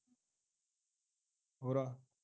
ਹੋਰ ਆ